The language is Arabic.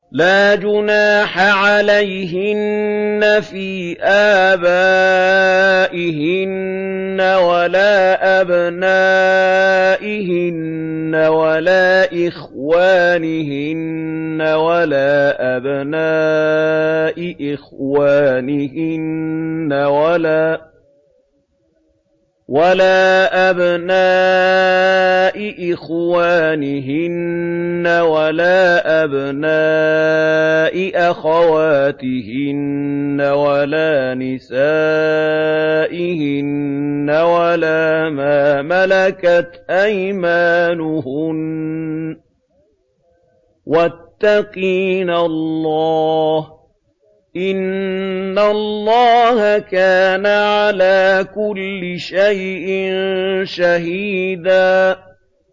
لَّا جُنَاحَ عَلَيْهِنَّ فِي آبَائِهِنَّ وَلَا أَبْنَائِهِنَّ وَلَا إِخْوَانِهِنَّ وَلَا أَبْنَاءِ إِخْوَانِهِنَّ وَلَا أَبْنَاءِ أَخَوَاتِهِنَّ وَلَا نِسَائِهِنَّ وَلَا مَا مَلَكَتْ أَيْمَانُهُنَّ ۗ وَاتَّقِينَ اللَّهَ ۚ إِنَّ اللَّهَ كَانَ عَلَىٰ كُلِّ شَيْءٍ شَهِيدًا